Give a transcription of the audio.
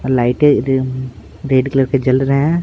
Light red colour के जल रहे हैं।